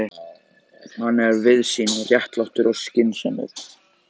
Hann er víðsýnn, réttlátur og skynsamur.